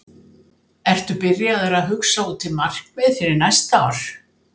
Ertu byrjaður að hugsa út í markmið fyrir næsta ár?